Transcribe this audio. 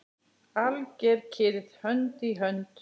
Alger kyrrð, hönd í hönd.